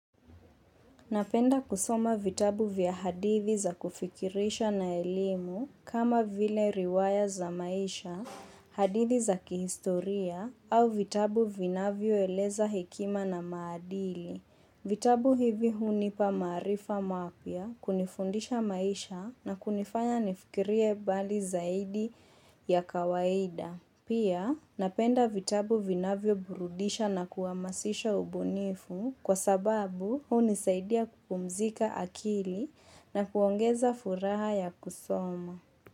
Napenda kusoma vitabu vya hadithi za kufikirisha na elimu kama vile riwaya za maisha, hadithi za kihistoria au vitabu vinavyo eleza hekima na maadili. Vitabu hivi hunipa maarifa mapya kunifundisha maisha na kunifanya nifikirie mbali zaidi ya kawaida. Pia napenda vitabu vinavyo burudisha na kuamasisha ubunifu kwa sababu huni saidia kupumzika akili na kuongeza furaha ya kusoma.